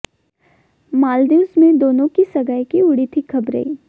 मालदीव्स में दोनों की सगाई की उड़ी थीं खबरें